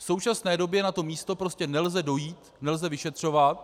V současné době na to místo prostě nelze dojít, nelze vyšetřovat.